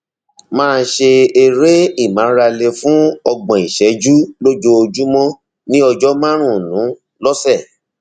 máa ṣe eré ìmárale fún ọgbọn ìṣẹjú lójoojúmọ ní ọjọ márùnún lọsẹ